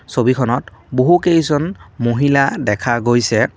ছবিখনত বহুকেইজন মহিলা দেখা গৈছে।